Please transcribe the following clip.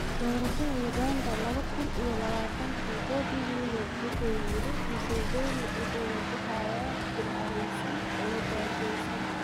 Doorashada Uganda laba kuun iyo labatanki: Bobi Wine wuxuu yiri "Museveni wuxuu wajahayaa jiil careysan oo gaajeysan"